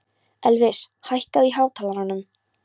Elvis, hækkaðu í hátalaranum.